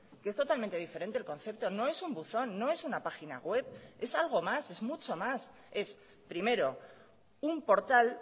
que es totalmente diferente el concepto no es un buzón no es una página web es algo más es mucho más es primero un portal